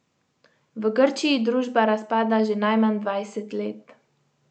V Grčiji družba razpada že najmanj dvajset let.